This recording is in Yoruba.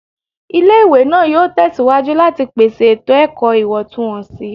Ile-iwe naa yoo tẹsiwaju lati pese eto-ẹkọ iwọntunwọnsi